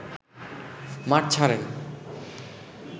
মাঠ ছাড়েন